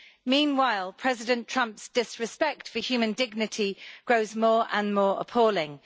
Meanwhile, President Trump's disrespect for human dignity grows more and more appalling.